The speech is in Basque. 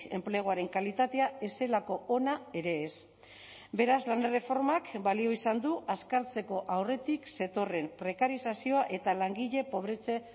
enpleguaren kalitatea ez zelako ona ere ez beraz lan erreformak balio izan du azkartzeko aurretik zetorren prekarizazioa eta langile pobretze